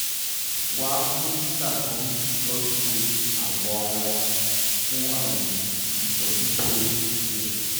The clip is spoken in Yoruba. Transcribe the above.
wá dókítà tó ń tọ́jú awọ ara fún àyẹ̀wò àti ìtọ́jú tó yẹ